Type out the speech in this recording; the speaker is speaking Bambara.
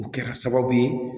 O kɛra sababu ye